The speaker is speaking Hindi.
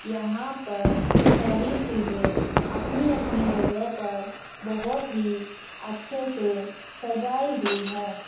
यहां पर सभी चीजे अपनी अपनी जगह पर बहोत ही अच्छे से सजाई हुई है।